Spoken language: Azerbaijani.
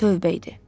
Tövbə idi.